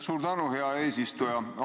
Suur tänu, hea eesistuja!